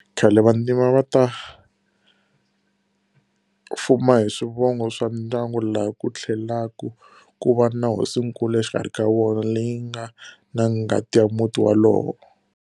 Khale vantima a va ti fuma hi swivongo swa ndyangu laha ku tlhelaku ku va na hosinkulu exikarhi ka vona, leyi yi nga na ngati ya muti walowo.